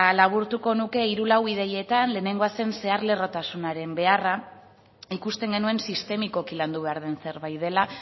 laburtuko nuke hiru lau ideietan lehenengoa zen zehar lerrotasunaren beharra ikusten genuen sistemikoki landu behar den zerbait dela